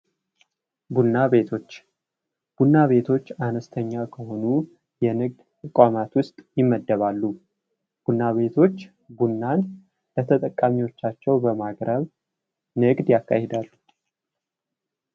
ቡና ቤቶች ። ቡና ቤቶች አነስተኛ ከሆኑ የንግድ ተቋማት ውስጥ ይመደባሉ ። ቡና ቤቶች ቡናን ለተጠቃሚዎቻቸው በማቅረብ ንግድ ያካሂዳሉ ።